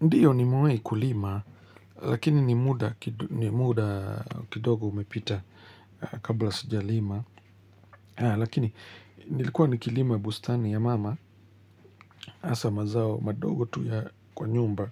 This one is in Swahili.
Ndiyo nimewai kulima, lakini ni muda kidogo umepita kabla sijalima. Lakini nilikuwa nikilima bustani ya mama, asa mazao madogo tu ya kwa nyumba.